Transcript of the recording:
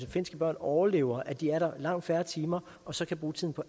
finske børn overlever at de er der i langt færre timer og så kan bruge tiden på